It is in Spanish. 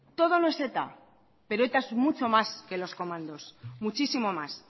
todo no es eta pero eta es mucho más que los comandos muchísimo más